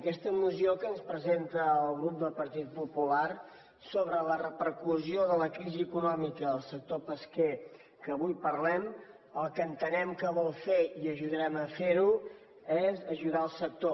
aquesta moció que ens presenta el grup del partit popular sobre la repercussió de la crisi econòmica al sector pesquer que avui parlem el que entenem que vol fer i ajudarem a fer ho és aju dar el sector